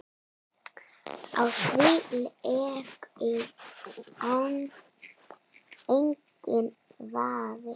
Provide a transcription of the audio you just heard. Á því leikur enginn vafi.